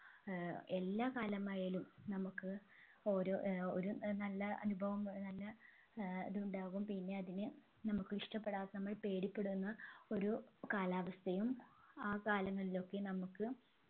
ഏർ എല്ലാ കാലമായാലും നമ്മുക്ക് ഓരോ ഏർ ഒരു നല്ല അനുഭവം ഏർ നല്ല ഏർ ഇതുണ്ടാകും പിന്നെ അതിന് നമ്മുക്കിഷ്ടപെടാത്ത നമ്മൾ പേടിപ്പെടുന്ന ഒരു കാലാവസ്ഥയും ആ കാലങ്ങളിലൊക്കെ നമ്മുക്ക്